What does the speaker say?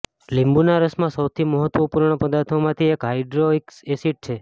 લીંબુના રસમાં સૌથી મહત્વપૂર્ણ પદાર્થોમાંથી એક હાયડ્રોક્સિ એસિડ છે